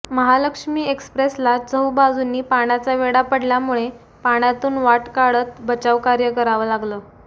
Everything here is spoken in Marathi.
महालक्ष्मी एक्सप्रेसला चहूबाजूंनी पाण्याचा वेढा पडल्यामुळे पाण्यातून वाट काढत बचावकार्य करावं लागलं